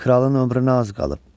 Kralın ömrünə az qalıb.